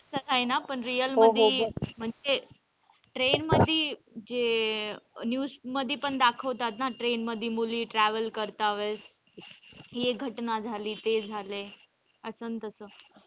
का राहिना पण real मध्ये म्हणजे train मध्ये जे news मध्ये पण दाखवतात ना train मध्ये मुली travel करता वेळेस हि एक घटना झाली ते झालं असं न तस.